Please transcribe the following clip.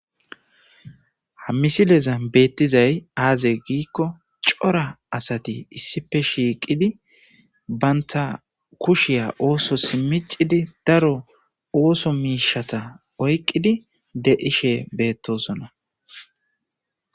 Ha misilezan betizay aze giko cora assati issipe shiqid banta kushiya ossos miicid daro ooso mishata oyiqid de7ishe betosona.